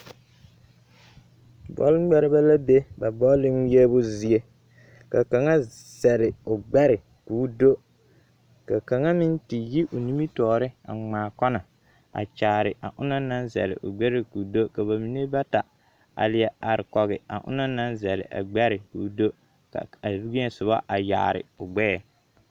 bɔle ŋmeɛrebɛ la be ba bɔle ŋmeɛbo zie ka kaŋa zele o gbɛre ka o do ka kaŋa me te yi o nimitɔ2re a ŋmaa kɔna a kyaare a ona naŋ zele o gbɛre ka o do ka ba mine meŋ bata a leɛ are kɔge a ona naŋ zele a gbɛre ka o do ka wẽɛ soba a yaare o gbɛɛ.